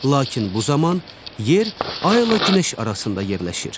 Lakin bu zaman yer ayilə günəş arasında yerləşir.